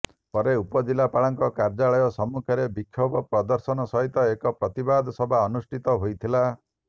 ପରେ ଉପଜିଲ୍ଲାପାଳଙ୍କ କାର୍ଯ୍ୟାଳୟ ସମ୍ମୁଖରେ ବିକ୍ଷୋଭ ପ୍ରଦର୍ଶନ ସହିତ ଏକ ପ୍ରତିବାଦ ସଭା ଅନୁଷ୍ଠିତ ହୋଇଥିଲା